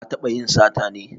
Ka taɓa yin sata ne?